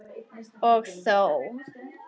Og þó!